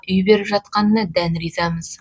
үй беріп жатқанына дән ризамыз